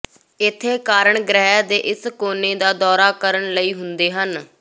ਇੱਥੇ ਕਾਰਨ ਗ੍ਰਹਿ ਦੇ ਇਸ ਕੋਨੇ ਦਾ ਦੌਰਾ ਕਰਨ ਲਈ ਹੁੰਦੇ ਹਨ